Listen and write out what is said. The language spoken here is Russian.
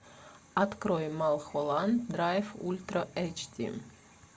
открой малхолланд драйв ультра эйч ди